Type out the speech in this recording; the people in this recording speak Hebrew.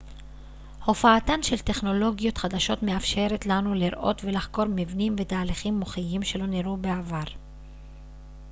הופעתן של טכנולוגיות חדשות מאפשרת לנו לראות ולחקור מבנים ותהליכים מוחיים שלא נראו בעבר